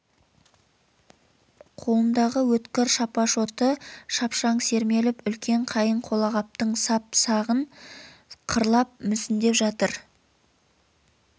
қолындағы өткір шапашоты шапшаң сермеліп үлкен қайың қолағаптың сап жағын қырлап мүсіндеп жатыр